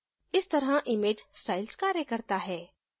इस तरह image styles कार्य करता है